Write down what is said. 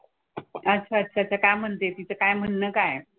अच्छा अच्छा. तर काय म्हणतेय? तिचं काय म्हणणं काय आहे?